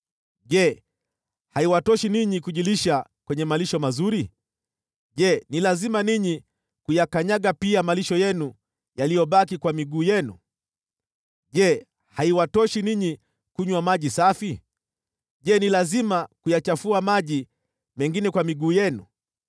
Je, haiwatoshi ninyi kujilisha kwenye malisho mazuri? Je, ni lazima ninyi kuyakanyaga pia malisho yenu yaliyobaki kwa miguu yenu? Je, haiwatoshi ninyi kunywa maji safi? Je, ni lazima kuyachafua maji mengine kwa miguu yenu?